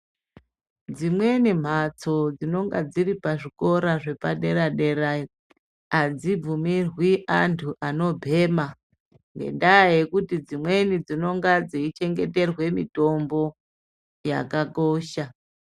Dzimweni mhatso dzinenge dziri pazvikora zvepadera dera adzibvumirwi antu anobhema ngendaa yekuti dzimweni dzinonga dzeichengeterwe mitombo yakakosha.